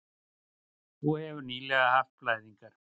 Þú hefðir nýlega haft blæðingar.